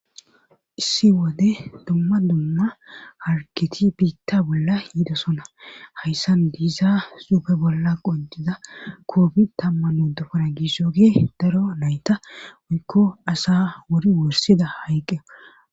Issi wode dumma dumma harketi biitta bolla yidosona hayssan diiza suupe bolla qodiza koobi tamman uddupana giisso gee daro nayta oykko asa wori worsida hayqqe